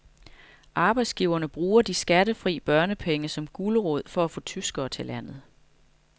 Arbejdsgiverne bruger de skattefri børnepenge som gulerod for at få tyskere til landet.